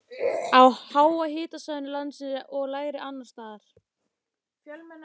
á háhitasvæðum landsins og lægri annars staðar.